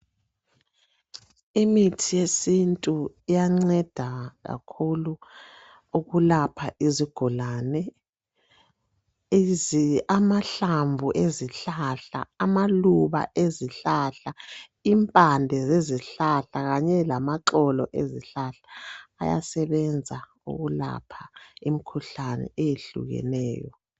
Imithi yesithu iyanceda kakhulu ukulapha izigulane. Amahlamvu ezihlahla, amaluba ezihlahla, impande zezihlahla kanye lamaxolo ezihlahla ayasebenza ukulapha imikhuhlane ehlukeneyo.